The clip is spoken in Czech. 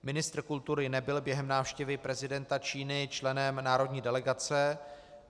Ministr kultury nebyl během návštěvy prezidenta Číny členem národní delegace.